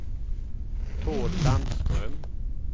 Tord Landström